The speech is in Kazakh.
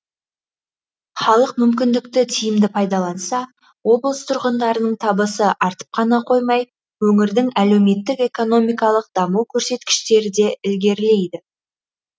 халық мүмкіндікті тиімді пайдаланса облыс тұрғындарының табысы артып қана қоймай өңірдің әлеуметтік экономикалық даму көрсеткіштері де ілгерілейді